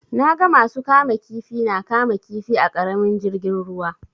Na ga masu kama kifi na kama kifi a ƙaramin jirgin ruwa.